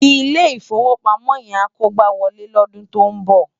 Ilé Ifówópámò yèn á kógbáwòlé lòdún tó n bò